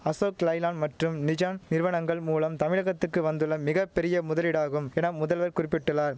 அசோக் லைலாண் மற்றும் நிஜான் நிறுவனங்கள் மூலம் தமிழகத்துக்கு வந்துள்ள மிக பெரிய முதலீடாகும் என முதல்வர் குறிப்பிட்டுள்ளார்